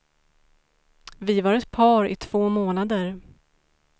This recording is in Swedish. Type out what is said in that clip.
Vi var ett par i två månader.